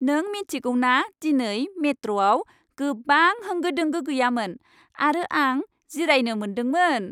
नों मिन्थिगौ ना दिनै मेट्र'आव गोबां होंगो दोंगो गैयामोन आरो आं जिरायनो मोनदोंमोन?